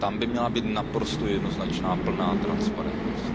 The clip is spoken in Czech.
Tam by měla být naprosto jednoznačná plná transparentnost.